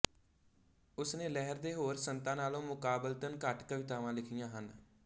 ਉਸ ਨੇ ਲਹਿਰ ਦੇ ਹੋਰ ਸੰਤਾਂ ਨਾਲੋਂ ਮੁਕਾਬਲਤਨ ਘੱਟ ਕਵਿਤਾਵਾਂ ਲਿਖੀਆਂ ਹਨ